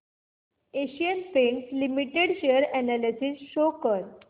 Asian Paints Limited share analysis show कर